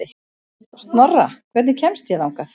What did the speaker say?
Snorra, hvernig kemst ég þangað?